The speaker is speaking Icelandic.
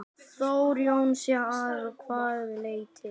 Þór Jónsson: Að hvaða leyti?